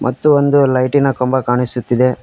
ಮತ್ತು ಒಂದು ಲೈಟಿನ ಕಂಬ ಕಾಣಿಸುತ್ತಿದೆ.